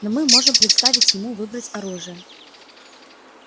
но мы можем представить ему выбрать оружие